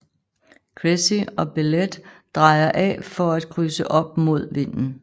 Cressy og Bellette drejer af for at krydse op mod vinden